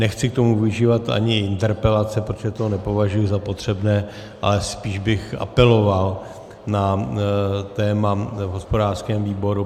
Nechci k tomu využívat ani interpelace, protože to nepovažuji za potřebné, ale spíš bych apeloval na téma v hospodářském výboru.